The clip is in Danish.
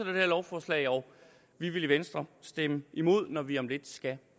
lovforslag og vi vil i venstre stemme imod når vi om lidt skal